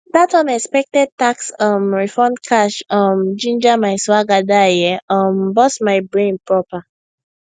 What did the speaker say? that unexpected tax um refund cash um ginger my swagger die e um burst my brain proper